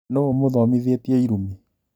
Nũ ũmũthomithĩtie irumi?